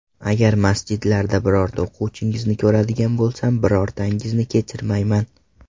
Agar masjidlarda birorta o‘quvchingizni ko‘radigan bo‘lsam, birortangizni kechirmayman.